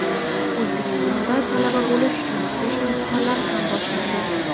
O‘zbekistonda talaba bo‘lish uchun kirish imtihonlari ham boshlandi.